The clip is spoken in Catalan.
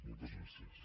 moltes gràcies